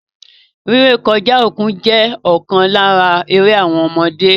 Rí rẹ̀kọ̀ja okun jẹ̀ okan lárà àwọn èrè ọ̀mọdé.